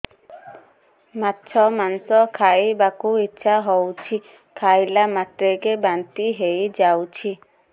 ମାଛ ମାଂସ ଖାଇ ବାକୁ ଇଚ୍ଛା ହଉଛି ଖାଇଲା ମାତ୍ରକେ ବାନ୍ତି ହେଇଯାଉଛି